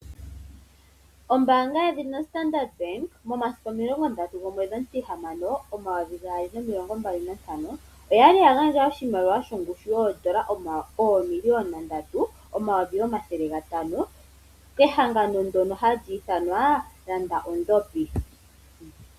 Ombaanga yedhina Standard momasiku 30.06.2025 oya li ya gandja oshimaliwa shongushu yoodola oomiliyona ndatu nomayovi omathele gatano kehangano ndyono hali ithanwa landa ondhopi.